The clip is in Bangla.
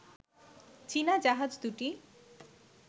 চীনা জাহাজ দুটি